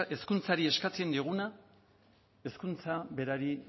hezkuntzari eskatzen dioguna hezkuntza berari